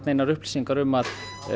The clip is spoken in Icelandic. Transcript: neinar upplýsingar um að